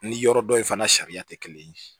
Ni yɔrɔ dɔ in fana sariya tɛ kelen ye